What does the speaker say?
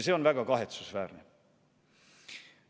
See on väga kahetsusväärne.